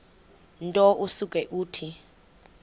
nto usuke uthi